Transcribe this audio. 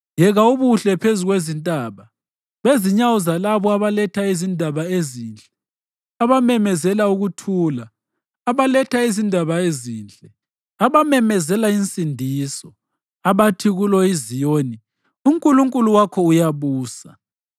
Yeka ubuhle phezu kwezintaba, bezinyawo zalabo abaletha izindaba ezinhle, abamemezela ukuthula, abaletha izindaba ezinhle, abamemezela insindiso, abathi kulo iZiyoni, “UNkulunkulu wakho uyabusa!”